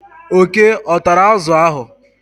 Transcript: oke ọ tara azụ ahụ?